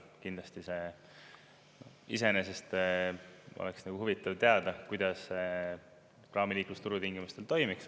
Kindlasti see iseenesest oleks huvitav teada, kuidas praamiliiklus turutingimustel toimiks.